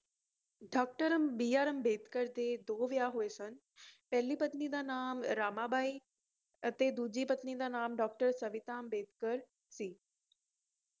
Doctor B R Ambedkar ਦੇ ਦੋ ਵਿਆਹ ਹੋਏ ਸਨ ਪਹਿਲੀ ਪਤਨੀ ਦਾ ਨਾਮ ਰਮਾਬਾਈ ਅਤੇ ਦੂਜੀ ਪਤਨੀ ਦਾ ਨਾਮ Doctor ਸਵਿਤਾ ਅੰਬੇਡਕਰ ਸੀ